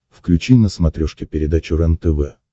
включи на смотрешке передачу рентв